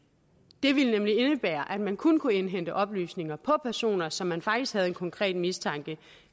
det ville nemlig indebære at man kun kunne indhente oplysninger på personer som man faktisk havde en konkret mistanke